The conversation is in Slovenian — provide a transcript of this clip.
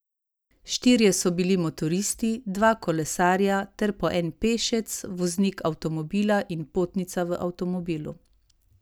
Štirje so bili motoristi, dva kolesarja ter po en pešec, voznik avtomobila in potnica v avtomobilu.